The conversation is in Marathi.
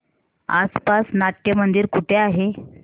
आसपास नाट्यमंदिर कुठे आहे